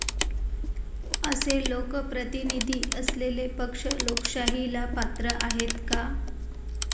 असे लोकप्रतिनिधी असलेले पक्ष लोकशाहीला पात्र आहेत का?